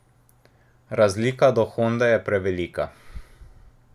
Razlika do Honde je prevelika.